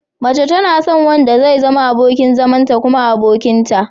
Mace tana son wanda zai zama abokin zamanta kuma abokinta.